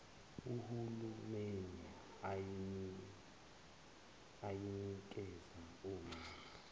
uhulumeni ayinikeza omama